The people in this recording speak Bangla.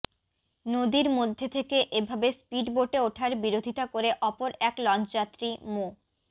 নদীর মধ্যে থেকে এভাবে স্পিডবোটে উঠার বিরোধিতা করে অপর এক লঞ্চযাত্রী মো